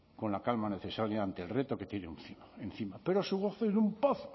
con la calma necesaria ante el reto que tiene encima pero su gozo en un pozo